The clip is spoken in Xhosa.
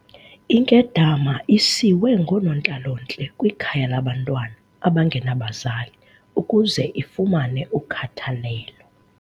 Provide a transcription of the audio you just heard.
Inkedama isiwe ngoonontlalontle kwikhaya labantwana abangenabazali ukuze ifumane ukhathalelo.